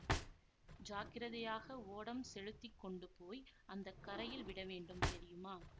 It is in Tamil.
ஜாக்கிரதையாக ஓடம் செலுத்தி கொண்டு போய் அந்த கரையில் விட வேண்டும் தெரியுமா